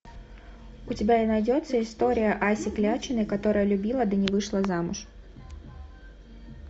у тебя найдется история аси клячиной которая любила да не вышла замуж